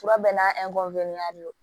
Fura bɛɛ n'a de don